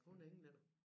Hun er englænder